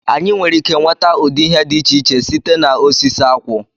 Anyị nwere ike nweta ụdị ihe dị iche iche site na osisi akwụ